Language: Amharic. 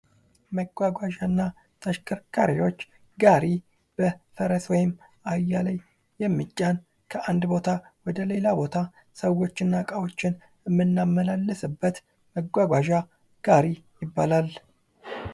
መጓጓዣና ተሽከርካሪዎች ጋሪ በፈረስ ወይም በአህያ ላይ የሚጫን ከአንድ ቦታ ወደሌላ ቦታ ሰዎችና እቃዎችን እምናመላለስበት መጓጓዣ ጋሪ ይባላል።